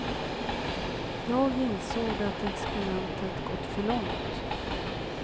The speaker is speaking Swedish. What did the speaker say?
Jag insåg att experimentet gått för långt.